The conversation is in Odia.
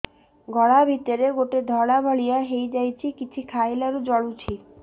ଗଳା ଭିତରେ ଗୋଟେ ଧଳା ଭଳିଆ ହେଇ ଯାଇଛି କିଛି ଖାଇଲାରୁ ଜଳୁଛି